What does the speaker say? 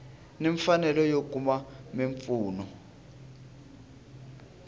na mfanelo yo kuma mimpfuno